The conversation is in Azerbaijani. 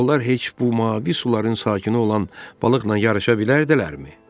Onlar heç bu mavi suların sakini olan balıqla yarışa bilərdilərmi?